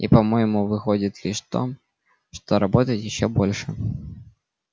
и по-моему выходит лишь в том что работать ещё больше